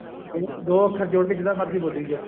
ਦੋ ਅੱਖਰ ਜੋੜ ਕੇ ਜਿੱਦਾਂ ਮਰਜੀ ਬੋਲੀ ਜਾਓ